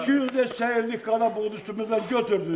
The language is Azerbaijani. İki yüz desək, illik qara boğdu üstümüzdən götürdünüz.